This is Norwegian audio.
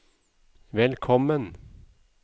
velkommen